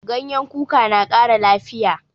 Ganyen kuka na ƙara lafiya.